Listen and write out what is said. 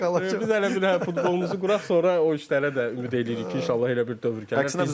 O ki qaldı biz hələ bir futbolumuzu quraq, sonra o işlərə də ümid eləyirik ki, inşallah elə bir dövr gəlir.